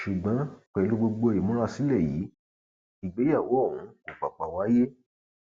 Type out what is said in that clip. ṣùgbọn pẹlú gbogbo ìmúrasílẹ yìí ìgbéyàwó ọhún kò pàpà wáyé